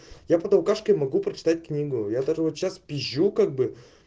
я под алкашкой могу прочитать книгу я даже вот сейчас пизжу как бы